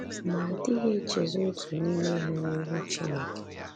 Ma a dịghị echezọ otu n’ime ha n’ihu Chineke.